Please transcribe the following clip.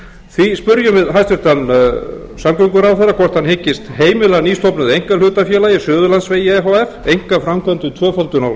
því spyrjum við hæstvirtan samgönguráðherra hvort hann hyggist heimila nýstofnuðu einkahlutafélagi suðurlandsveg e h f einkaframkvæmd um tvöföldun á suðurlandsvegi og